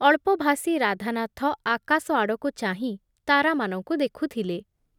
ଅଳ୍ପଭାଷୀ ରାଧାନାଥ ଆକାଶ ଆଡ଼କୁ ଚାହିଁ ତାରାମାନଙ୍କୁ ଦେଖୁଥିଲେ ।